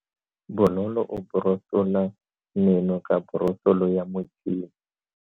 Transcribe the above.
Bonolo o borosola meno ka borosolo ya motšhine.